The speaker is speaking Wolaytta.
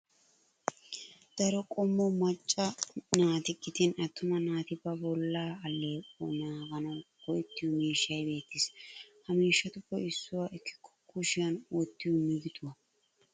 Daro qommo macca naati gidin attuma naati ba bollaa alleequwa naaganawu go'ettiyo miishshay beettes. Ha miishshatuppe issuwa ekkikko shushiyan wottiyo migiduwa.